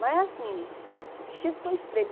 Mas assim, o vestido ficou estreito.